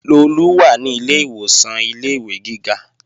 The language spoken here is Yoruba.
Lolú wà ní ilé ìwòsàn ilé-ìwé gíga